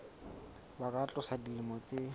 ba ka tlasa dilemo tse